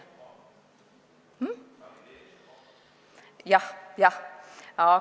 Jah, jah.